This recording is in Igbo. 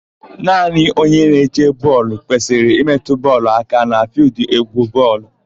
Naanị onye na-eche bọọlụ kwesịrị ịmetụ bọọlụ aka na fịịldụ n'égwú bọọlụ.